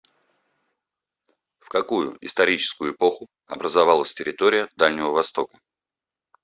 в какую историческую эпоху образовалась территория дальнего востока